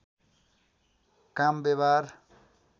काम व्यवहार